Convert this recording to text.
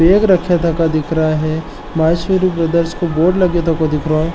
बैग रख्या तका दिख रेया है माहेश्वरी ब्रदर्स को बोर्ड लग्या तको दिख रयो है।